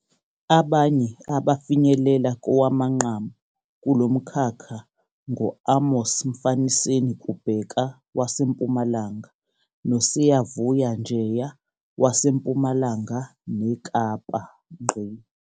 Abanye abafinyelela kowamanqamu kulo mkhakha ngo-Amos Mfaniseni Kubheka waseMpumalanga noSiyavuya Njeya waseMpumalanga neKapa.